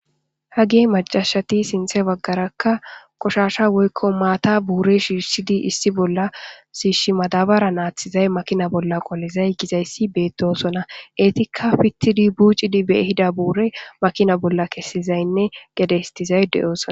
Hage macashati sintha bagaray qoshasha woykon mata buri shishidi issi bolla madabaran athizay makinan qolizay gizaysi betosona etika pitidi bucidi be ehida bura makinan kesizayne gede histizay de'osona